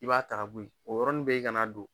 I b'a ta ka bɔ yen o yɔrɔni bɛ i ka na don